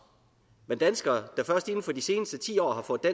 men danskere der først inden for de seneste ti år har fået